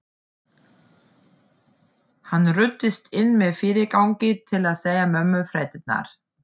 Hann ruddist inn með fyrirgangi til að segja mömmu fréttirnar.